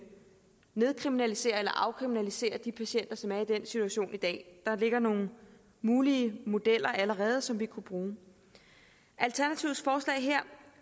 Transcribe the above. nedkriminalisere eller afkriminalisere de patienter som er i den situation i dag der ligger nogle mulige modeller allerede som vi kunne bruge alternativets forslag her